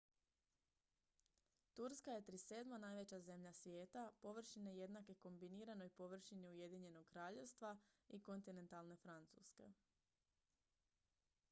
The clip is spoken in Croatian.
turska je 37. najveća zemlja svijeta površine jednake kombiniranoj površini ujedinjenog kraljevstva i kontinentalne francuske